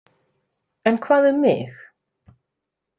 En hvað um mig?